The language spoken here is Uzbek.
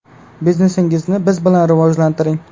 Biznesingizni biz bilan rivojlantiring.